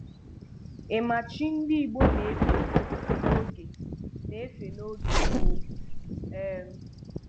Ị ma chi ndị Igbo na-efe n'oge na-efe n'oge gboo? um